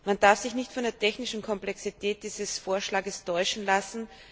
Man darf sich nicht von der technischen Komplexität dieses Vorschlages täuschen lassen.